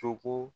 Tɔgɔ